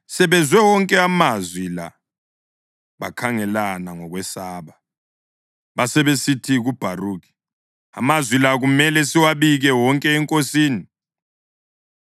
Sebezwe wonke amazwi la bakhangelana ngokwesaba, basebesithi kuBharukhi, “Amazwi la kumele siwabike wonke enkosini.”